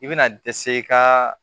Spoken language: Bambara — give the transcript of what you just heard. I bɛna dɛsɛ i ka